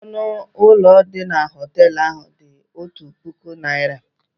Ọnụ ụlọ dị na họtel ahụ dị otu puku naira.